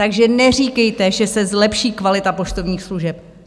Takže neříkejte, že se zlepší kvalita poštovních služeb.